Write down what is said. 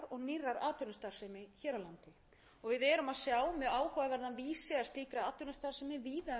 með stefnumörkun og markmiðum af hálfu hins opinbera tillagan er